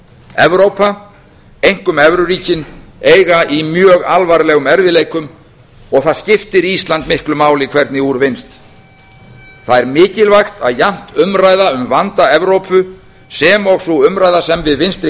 evrópa einkum evruríkin eiga í mjög alvarlegum erfiðleikum og það skiptir ísland miklu máli hvernig úr vinnst það er mikilvægt að jafnt umræða um vanda evrópu sem og sú umræða sem við vinstri